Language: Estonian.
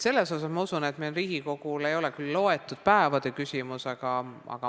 Selles mõttes ma usun, et Riigikogus ei ole otsustamine päevade küsimus.